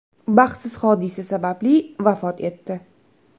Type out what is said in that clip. baxtsiz hodisa sababli vafot etdi.